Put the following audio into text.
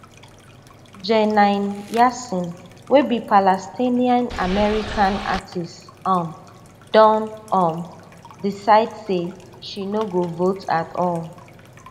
jenine yassin wey be palestinian-american artist um don um decide say she no go vote at all